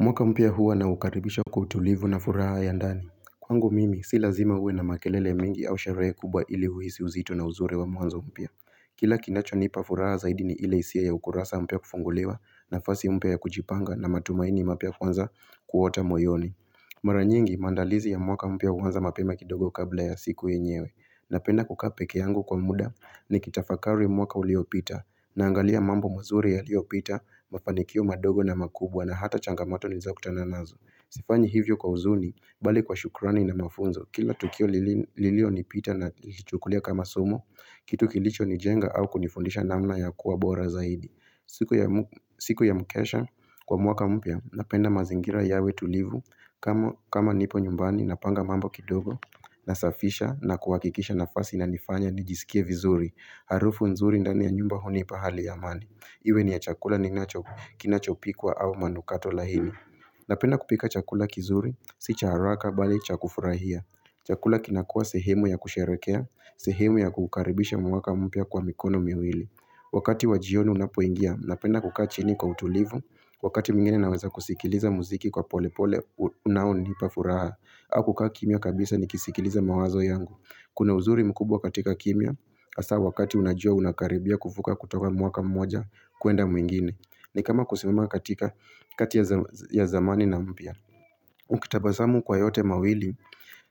Mwaka mpya huwa naukaribisha kwa utulivu na furaha ya ndani. Kwangu mimi, si lazima uwe na makelele mingi au sherehe kubwa ili uhisi uzito na uzuri wa mwanzo mpya. Kila kinachonipa furaha zaidi ni ile hisia ya ukurasa mpya kufunguliwa nafasi mpya ya kujipanga na matumaini mapya kwanza kuota moyoni. Mara nyingi, maandalizi ya mwaka mpya huanza mapema kidogo kabla ya siku yenyewe. Napenda kukaa pekee yangu kwa muda nikitafakari mwaka uliopita Naangalia mambo mazuri yaliyopita, mafanikio madogo na makubwa na hata changamoto nilizo kutana nazo Sifanyi hivyo kwa huzuni, bali kwa shukrani na mafunzo Kila tukio lilio nipita nakichukulia kama somo Kitu kilicho nijenga au kunifundisha namna ya kuwa bora zaidi siku ya mkesha kwa mwaka mpya, napenda mazingira yawe tulivu kama nipo nyumbani napanga mambo kidogo Nasafisha na kuhakikisha nafasi inanifanya nijisikie vizuri Harufu nzuri ndani ya nyumba hunipa hali ya amani Iwe ni ya chakula ninacho kinachopikwa au manukato laini Napenda kupika chakula kizuri, si cha haraka bali cha kufurahia Chakula kinakua sehemu ya kusherekea, sehemu ya kukaribisha mwaka mpya kwa mikono miwili Wakati wajioni unapoingia, napenda kukaa chini kwa utulivu Wakati mwingine naweza kusikiliza muziki kwa pole pole unaonipa furaha au kukaa kimia kabisa nikisikiliza mawazo yangu Kuna uzuri mkubwa katika kimia Hasa wakati unajua unakaribia kuvuka kutoka mwaka mmoja kuenda mwingine ni kama kusimama katika kati ya ya zamani na mpya Ukitabasamu kwa yote mawili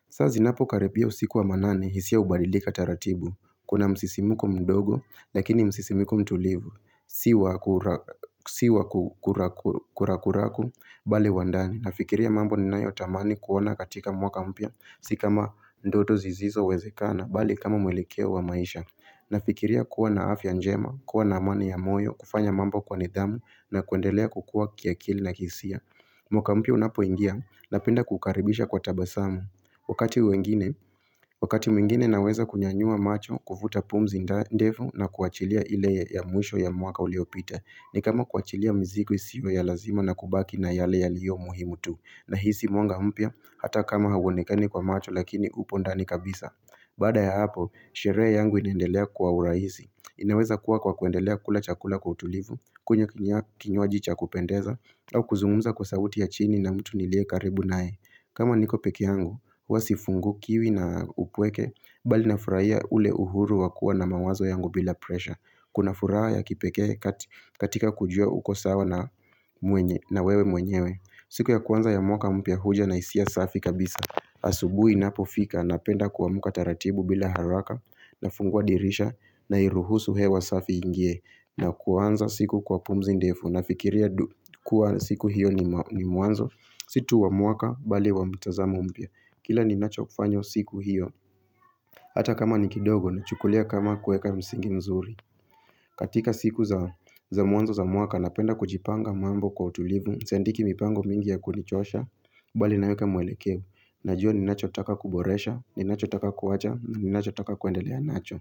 saa zinapokaribia usiku wa manane hisia hubadilika taratibu Kuna msisimuko mdogo Lakini msisimuko mtulivu Si wakurakuraku Bali wa ndani Nafikiria mambo ninayo tamani kuona katika mwaka mpya Si kama ndoto zisizo wezekana Bali kama mwelekeo wa maisha Nafikiria kuwa na afya njema kuwa na amani ya moyo kufanya mambo kwa nidhamu na kuendelea kukua kiakili na kisia mwaka mpya unapoingia Napenda kukaribisha kwa tabasamu wakati wengine Wakati mwingine naweza kunyanyua macho Kuvuta pumzi ndefu na kuachilia ile ya mwisho ya mwaka uliopita ni kama kuachilia mzigo isiwe ya lazima na kubaki na yale yaliyo muhimu tu nahisi mwanga mpya hata kama hauonekani kwa macho lakini upo ndani kabisa baada ya hapo, sherehe yangu inaendelea kwa urahisi inaweza kuwa kwa kuendelea kula chakula kwa utulivu kunywa kinywaji cha kupendeza au kuzungumza kwa sauti ya chini na mtu nilie karibu nae kama niko pekee yangu, huwa sifungukiwi na upweke Bali nafurahia ule uhuru wa kuwa na mawazo yangu bila presha Kuna furaha ya kipekee katika kujua uko sawa na mwenye na wewe mwenyewe siku ya kwanza ya mwaka mpya huja na hisia safi kabisa Asubuhi inapofika napenda kuamka taratibu bila haraka na fungua dirisha nairuhusu hewa safi iingie na kuanza siku kwa pumzi ndefu nafikiria kuwa siku hiyo ni mwanzo Si tu wa mwaka bali wa mtazamo mpya Kila ninacho kufanya siku hiyo Hata kama ni kidogo nachukulia kama kuweka msingi mzuri. Katika siku za mwanzo za mwaka napenda kujipanga mambo kwa utulivu. Siandiki mipango mingi ya kunichosha, bali naweka mwelekeo. Najua ninachotaka kuboresha, ninachotaka kuacha, ni nachotaka kuendelea nacho.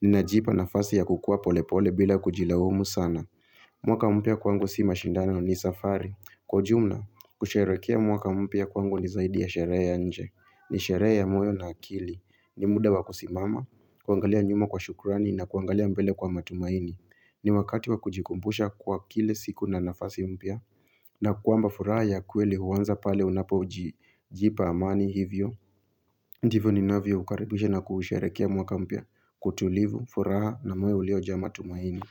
Ninajipa nafasi ya kukua pole pole bila kujilaumu sana. Mwaka mpya kwangu si mashindano ni safari. Kwa ujumla, kusherehekea mwaka mpya kwangu ni zaidi ya sherehe nje. Ni sherehe ya moyo na akili. Ni muda wa kusimama, kuangalia nyuma kwa shukurani na kuangalia mbele kwa matumaini ni wakati wa kujikumbusha kwa kile siku na nafasi mpya na kwamba furaha ya kweli huanza pale unapojipa amani hivyo Ndivyo ninavyo ukaribisha na kuusherekea mwaka mpya kwa utulivu furaha na moyo uliojaa matumaini.